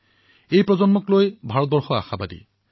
আজি ভাৰতে এই প্ৰজন্মৰ পৰা বহু আশা কৰে